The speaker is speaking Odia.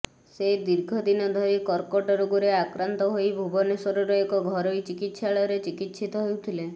ସେ ଦୀର୍ଘ ଦିନ ଧରି କର୍କଟ ରୋଗରେ ଆକ୍ରାନ୍ତ ହୋଇ ଭୁବନେଶ୍ୱରର ଏକ ଘରୋଇ ଚିକିତ୍ସାଳୟରେ ଚିକିତ୍ସିତ ହେଉଥିଲେ